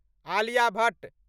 Alia Bhatt